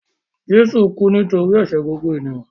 Jésù kú nítorí ẹ̀ṣẹ̀ gbogbo ènìyàn.